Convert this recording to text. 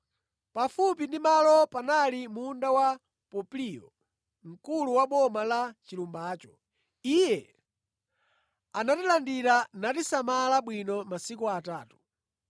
Pafupi ndi malowa panali munda wa Popliyo, mkulu wa boma la pa chilumbacho. Iye anatilandira natisamala bwino masiku atatu.